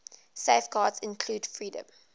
safeguards include freedom